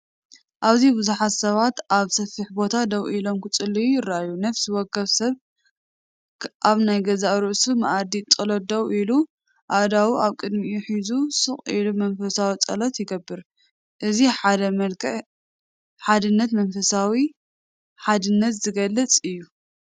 ኣብዚ ብዙሓት ሰባት ኣብ ሰፊሕ ቦታ ደው ኢሎም ክጽልዩ ይረኣዩ። ነፍሲ ወከፍ ሰብ ኣብ ናይ ገዛእ ርእሱ መኣዲ ጸሎት ደው ኢሉ፡ኣእዳዉ ኣብ ቅድሚኡ ሒዙ ስቕ ኢሉ መንፈሳዊ ጸሎት ይገብር። እዚ ሓደ መልክዕ ሓድነትን መንፈሳዊ ሓድነትን ዝገልጽ እዩ።